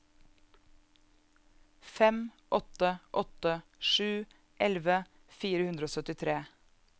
fem åtte åtte sju elleve fire hundre og syttitre